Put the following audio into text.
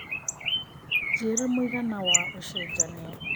njĩira mũigana wa ũcejanĩa